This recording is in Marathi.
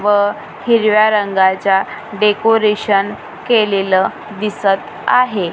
व हिरव्या रंगाच्या डेकोरेशन केलेलं दिसत आहे.